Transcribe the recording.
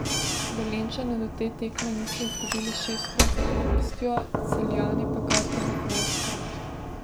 Velenjčani do te tekme niso izgubili šestkrat zapovrstjo, Celjani pa kar devetnajstkrat.